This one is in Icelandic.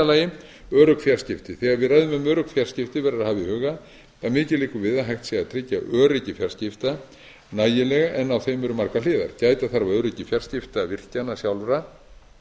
ræðum um örugg fjarskipti verður að hafa í huga að mikið liggur við að hægt sé að tryggja öryggi fjarskipta nægilega en á þeim eru margar hliðar gæta þarf að öryggi fjarskipta virkjanna sjálfra